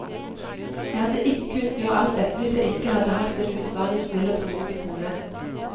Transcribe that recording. Jeg hadde ikke kunnet gjøre alt dette hvis jeg ikke hadde hatt en usedvanlig snill og tålmodig kone.